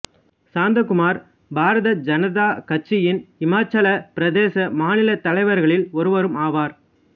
சாந்தகுமார் பாரதிய ஜனதா கட்சியின் இமாச்சலப் பிரதேச மாநிலத் தலைவர்களில் ஒருவரும் ஆவார்